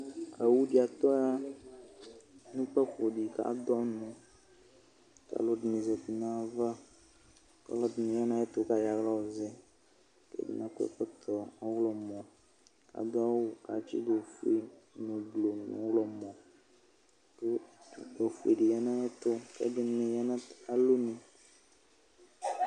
Owʋdi atɔya nʋ kpafodi kʋ adʋ ɔnʋ kʋ alʋdini zati nʋ ayʋ ava kʋ ɔlɔdini yanʋ ayʋ ɛtʋ kʋ ayɔ alɔ yɔzɛ atani akɔ ɛkɔtɔ ɔwlɔmɔ kʋ adʋ awʋ kʋ atsidʋ ofue nʋ blu nʋ ɔyɔmɔ kʋ utnʋ ofuedi yanʋ ayɛtʋ kʋ ɛdini yanʋ alɔnʋ